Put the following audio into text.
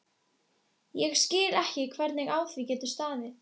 Ég skil ekki, hvernig á því getur staðið